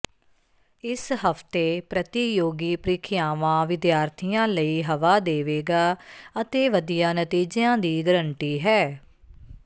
ਇਸ ਹਫਤੇ ਪ੍ਰਤੀਯੋਗੀ ਪ੍ਰੀਖਿਆਵਾਂ ਵਿਦਿਆਰਥੀਆਂ ਲਈ ਹਵਾ ਦੇਵੇਗਾ ਅਤੇ ਵਧੀਆ ਨਤੀਜਿਆਂ ਦੀ ਗਰੰਟੀ ਹੈ